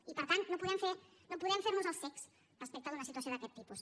i per tant no podem fer nos els cecs respecte d’una situació d’aquest tipus